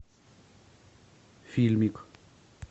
фильмик